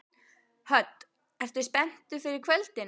Hödd: Ertu spenntur fyrir kvöldinu?